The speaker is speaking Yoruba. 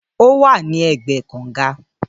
Ówà ní ègbé kàńgà